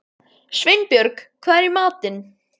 Sveinbjörg, hvað er í matinn?